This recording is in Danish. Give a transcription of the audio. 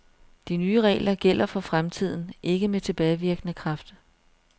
De nye regler gælder for fremtiden, ikke med tilbagevirkende kraft.